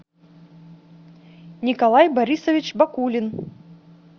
николай борисович бакулин